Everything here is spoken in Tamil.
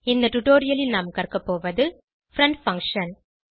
இந்த டுடோரியலில் நாம் கற்கபோவது பிரெண்ட் பங்ஷன்